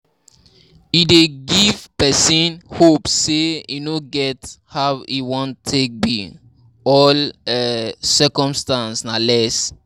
E dey give person hope sey e no get how e wan take be, all um obstacle na less